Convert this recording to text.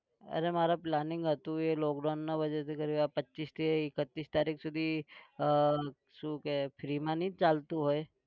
અરે મારે planning હતું એ lockdown ના वजह થી કરી આ પચ્ચીસથી એકત્રીસ તારીખ સુધી આહ શું કે free માં નહિ જ ચાલતું હોય.